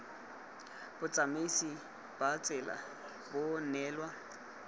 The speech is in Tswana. botsamaisi ba tsela bo neelwa